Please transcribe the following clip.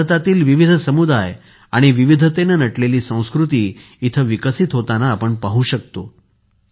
भारतातील विविध समुदाय आणि विविधतेने नटलेली संस्कृती इथे विकसित होताना आपण पाहू शकतो